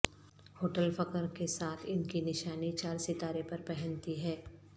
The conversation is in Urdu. ہوٹل فخر کے ساتھ ان کی نشانی چار ستارے پر پہنتی ہے